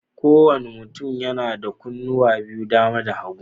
Kowane mutum yana da kunnuwa biyu, dama da hagu.